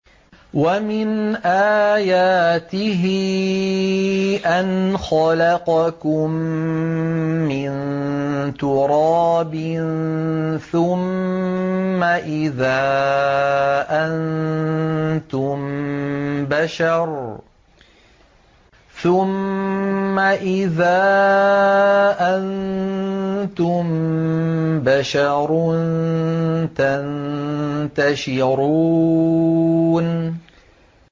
وَمِنْ آيَاتِهِ أَنْ خَلَقَكُم مِّن تُرَابٍ ثُمَّ إِذَا أَنتُم بَشَرٌ تَنتَشِرُونَ